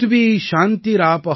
शान्तिरेव शान्ति सा मा शान्तिरेधि